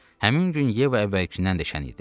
Həmin gün Yeva əvvəlkindən də şən idi.